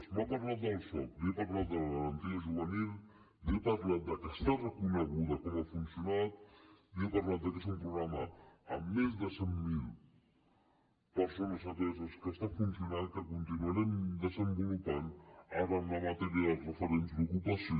m’ha parlat del soc li he parlat de la garantia juvenil li he parlat de que està reconegut com ha funcionat li he parlat de que és un programa amb més de cent mil persones ateses que està funcionant que continuarem desenvolupant ara amb la matèria dels referents d’ocupació